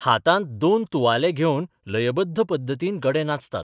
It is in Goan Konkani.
हातांत दोन तुवाले घेवन लयबद्ध पद्दतीन गडे नाचतात.